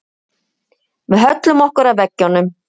Við höllum okkur að veggjunum.